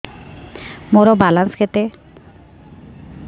ମୋର ବାଲାନ୍ସ କେତେ